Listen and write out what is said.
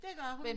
Det gør hun